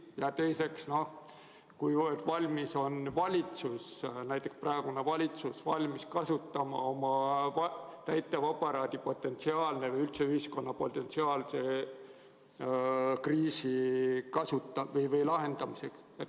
Ja teiseks, kui valmis on valitsus – näiteks praegune valitsus – kasutama oma täitevaparaadi potentsiaali või üldse ühiskonna potentsiaali kriisi lahendamiseks.